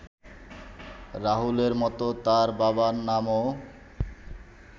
রাহুলের মতো তার বাবার নামও